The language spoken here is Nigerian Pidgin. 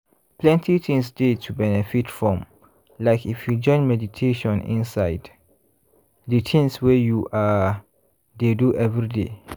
plenty things dey to benefit from like if you join meditation inside de tins wey you ah! dey do everyday.